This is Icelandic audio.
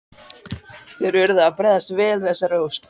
Þeir urðu að bregðast vel við þessari ósk.